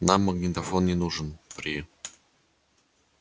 нам магнитофон не нужен при